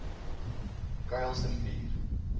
kuilsrivier